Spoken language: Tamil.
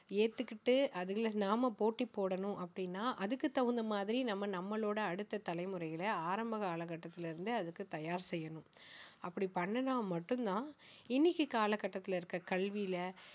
ஏத்துகிட்டு அதுல நாம போட்டி போடணும் அப்படின்னா அதுக்கு தகுந்த மாதிரி நாம நம்மளோட அடுத்த தலைமுறைகளை ஆரம்ப காலகட்டத்தில இருந்தே அதுக்கு தயார் செய்யணும் அப்படி பண்ணினா மட்டும் தான் இன்னைக்கு காலகட்டத்தில இருக்கிற கல்வியில